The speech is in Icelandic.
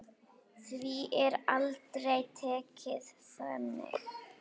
Því er aldrei tekið þannig.